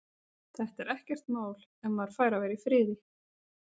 Þetta er ekkert mál. ef maður fær að vera í friði.